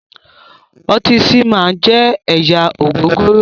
Ọtí "seaman" jẹ́ ẹ̀yà ògògóró